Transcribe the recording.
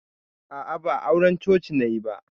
A'a, ba auran coci nayi ba.